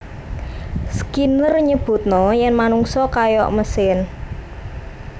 Skinner nyebutna yen manungsa kaya mesin